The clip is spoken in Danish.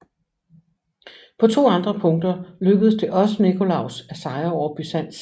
På to andre punkter lykkedes det også Nikolaus at sejre over Byzans